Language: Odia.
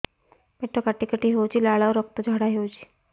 ପେଟ କାଟି କାଟି ହେଉଛି ଲାଳ ରକ୍ତ ଝାଡା ହେଉଛି